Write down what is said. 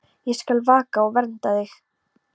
Ég skal vaka og vernda þig.